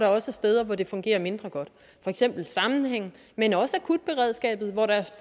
også er steder hvor det fungerer mindre godt for eksempel sammenhæng men også akutberedskabet hvor der